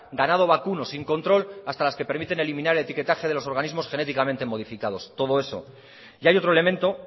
ganado vacuno sin control hasta las que permiten eliminar etiquetaje de los organismos genéticamente modificados todo eso y hay otro elemento